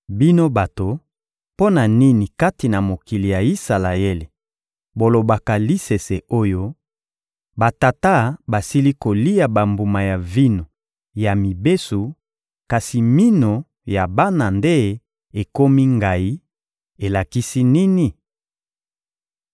«Bino bato, mpo na nini kati na mokili ya Isalaele bolobaka lisese oyo: ‹Batata basili kolia bambuma ya vino ya mibesu, kasi minu ya bana nde ekomi ngayi; elakisi nini?›